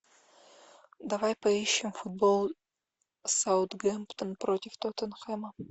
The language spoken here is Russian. давай поищем футбол саутгемптон против тоттенхэма